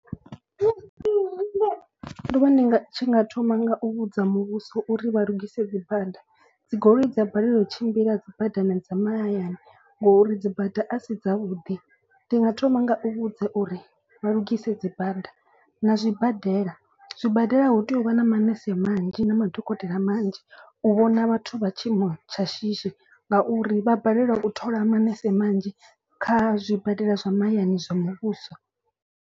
Ndo vha ndi tshi nga thoma nga u vhudza muvhuso uri vha lugise dzi bada. Dzi goloi dza balelwa u tshimbila dzi badani dza mahayani ngori dzi bada a si dzavhuḓi. Ndi nga thoma nga u vhudza uri vha lugise dzi bada na zwibadela. Zwibadela hu tea u vha na manese manzhi na madokotela manzhi u vhona vhathu vha tshiimo tsha shishi. Ngauri vha balelwa u thola manese manzhi kha zwibadela zwa mahayani zwa muvhuso.